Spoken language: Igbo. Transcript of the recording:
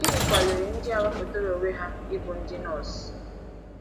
Gịnị kwaliri ndị a wepụtara onwe ha ịbụ ndị nọọsụ?